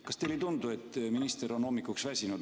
Kas teile ei tundu, et minister on hommikuks väsinud?